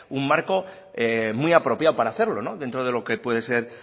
un marco muy apropiado para hacerlo dentro de lo que puede ser